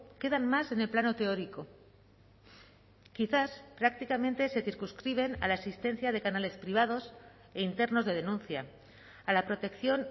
quedan más en el plano teórico quizás prácticamente se circunscriben a la existencia de canales privados e internos de denuncia a la protección